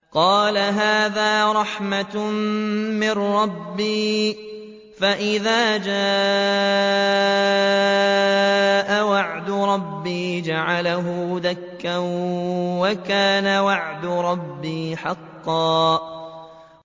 قَالَ هَٰذَا رَحْمَةٌ مِّن رَّبِّي ۖ فَإِذَا جَاءَ وَعْدُ رَبِّي جَعَلَهُ دَكَّاءَ ۖ وَكَانَ وَعْدُ رَبِّي حَقًّا